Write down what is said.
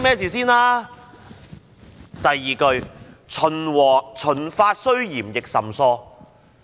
這首詩的第二句是"秦法雖嚴亦甚疏"。